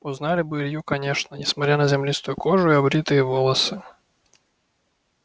узнали бы илью конечно несмотря на землистую кожу и обритые волосы